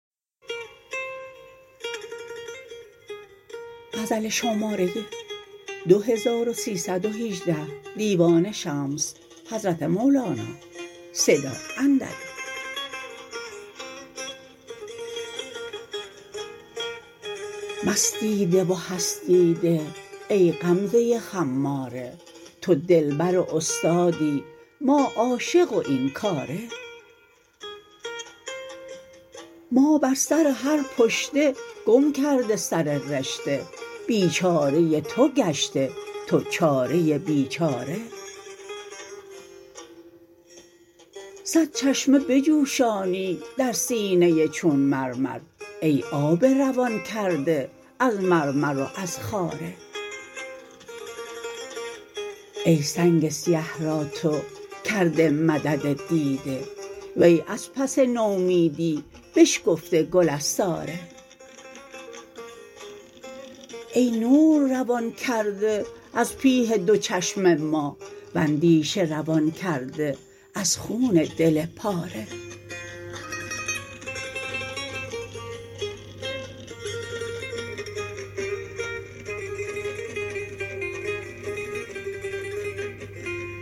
مستی ده و هستی ده ای غمزه خماره تو دلبر و استادی ما عاشق و این کاره ما بر سر هر پشته گم کرده سر رشته بیچاره تو گشته تو چاره بیچاره صد چشمه بجوشانی در سینه چون مرمر ای آب روان کرده از مرمر و از خاره ای سنگ سیه را تو کرده مدد دیده وی از پس نومیدی بشکفته گل از ساره ای نور روان کرده از پیه دو چشم ما و اندیشه روان کرده از خون دل پاره